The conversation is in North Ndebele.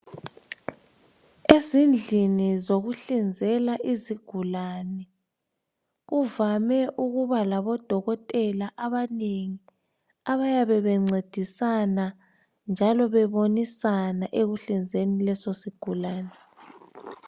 Ezihdlini zokuhlinzela izigulane. Kuvame ukuba labodokotela abaningi. Abayabe bencedisana, njalo bebonisana, ekuhlinzeni lesosigulane.